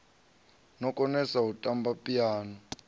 no konesa u tamba phiano